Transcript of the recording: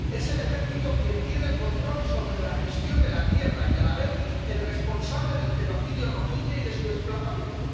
Es el ejército quien tiene el control sobre la gestión de la tierra y es, a la vez, el responsable del genocidio rohinyá y de su desplazamiento.